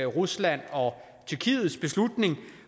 ruslands og tyrkiets beslutninger